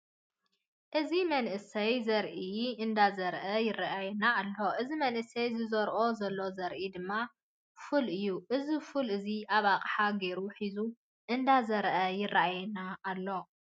እዚ መንእሰይ ዘርኢ ንዳዘርአ ይረአየና ኣሎ። እዚ መንእሰይ ዝዘርኦ ዘሎ ዘርኢ ድማ ፉል እዩ። እዚ ፉል እዚ ኣብ ኣቅሓ ጌሩ ሒዙ እንዳዘርአ ይረአየና ኣሎ።